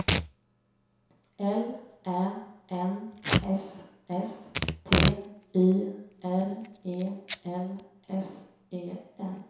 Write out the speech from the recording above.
L Ä N S S T Y R E L S E N